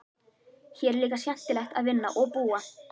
Hér er líka skemmtilegt að vinna og búa.